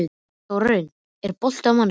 Þórarinn, er bolti á mánudaginn?